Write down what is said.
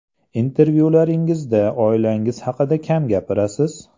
Intervyularingizda oilangiz haqida kam gapirasiz?